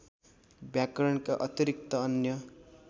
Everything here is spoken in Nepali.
व्याकरणका अतिरिक्त अन्य